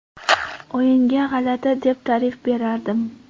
O‘yinga g‘alati deb ta’rif berardim.